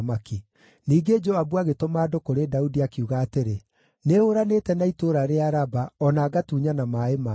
Ningĩ Joabu agĩtũma andũ kũrĩ Daudi, akiuga atĩrĩ, “Nĩhũũranĩte na itũũra rĩa Raba o na ngatunyana maaĩ marĩo.